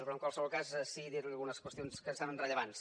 però en qualsevol cas sí que dir li algunes qüestions que em semblen rellevants